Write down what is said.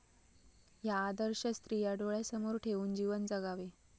ह्या आदर्श स्त्रिया डोळ्यासमोर ठेवून जीवन जगावे.